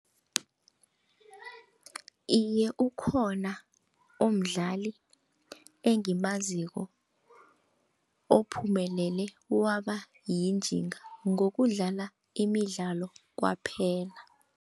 Iye, ukhona umdlali engimaziko ophumeleleko wabayinjinga ngokudlala imidlalo kwaphela.